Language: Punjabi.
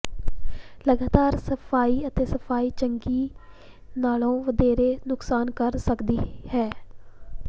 ਲਗਾਤਾਰ ਸਫਾਈ ਅਤੇ ਸਫਾਈ ਚੰਗੀ ਨਾਲੋਂ ਵਧੇਰੇ ਨੁਕਸਾਨ ਕਰ ਸਕਦੀ ਹੈ